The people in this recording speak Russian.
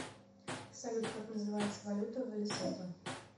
салют как называется валюта в лесото